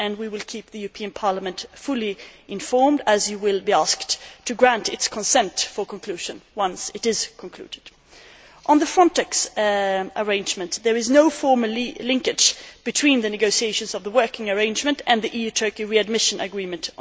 We will keep Parliament fully informed as it will be asked to grant its consent for conclusion once it is concluded. On the Frontex arrangement, there is no formal linkage between the negotiation of the working arrangement and the EU Turkey readmission agreement.